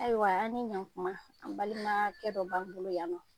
Ayiwa an ni ɲankuma an balimakɛ dɔ b'an bolo yan nɔ.